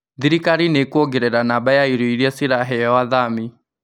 Thirikari nĩ ĩkuongerera namba ya irio iria ciraheo athami